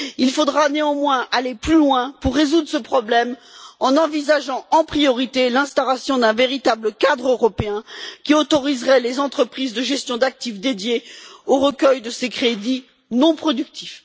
Il faudra néanmoins aller plus loin pour résoudre ce problème en envisageant, en priorité, l'instauration d'un véritable cadre européen qui autoriserait les entreprises de gestion d'actifs dédiées à recueillir ces crédits non productifs.